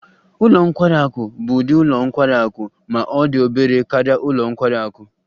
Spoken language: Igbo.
Ụlọ nkwari akụ bụ ụdị ụlọ nkwari akụ ma ọ dị obere karịa ụlọ nkwari akụ